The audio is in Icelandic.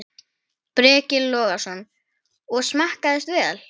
Breki Logason: Og smakkast vel?